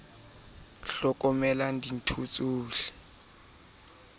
ho ya ho e ithutwang